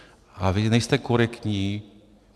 A vy nejste korektní.